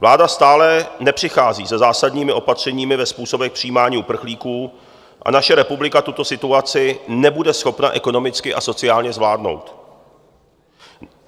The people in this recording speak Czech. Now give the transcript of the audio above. Vláda stále nepřichází se zásadními opatřeními ve způsobech přijímání uprchlíků a naše republika tuto situaci nebude schopna ekonomicky a sociálně zvládnout.